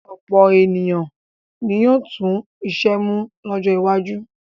Ọ̀pọ̀ ènìyàn ni yóò tú iṣẹ́ mú lọ́jọ́ iwájú.